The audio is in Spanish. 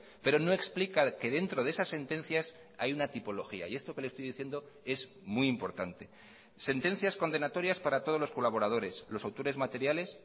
pero no explica que dentro de esas sentencias hay una tipología y esto que le estoy diciendo es muy importante sentencias condenatorias para todos los colaboradores los autores materiales